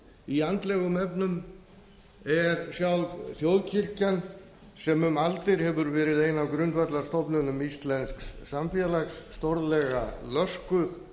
í andlegum efnum er sjálf þjóðkirkjan sem um aldir hefur verið ein af grundvallarstofnunum íslensks samfélags stórlega löskuð